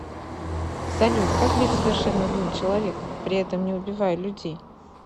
салют как быть совершенно злым человеком при этом не убивая людей